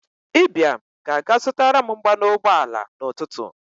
Ibiam ga-aga zụtaram mmanụ ụgbọ ala n'ụtụtụ.